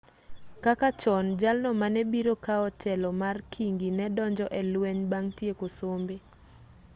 kaka chon jalno manebiro kaw telo mar kingi ne donjo e lweny bang' tieko sombe